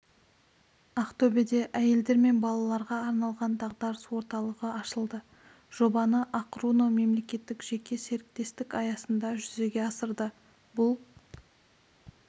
ақтөбеде әйелдер мен балаларға арналған дағдарыс орталығы ашылды жобаны ақ-руно мемелекеттік-жеке серіктестік аясында жүзеге асырды бұл